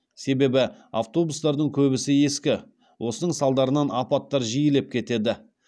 себебі автобустардың көбісі ескі осының салдарынан апаттар жиілеп кетеді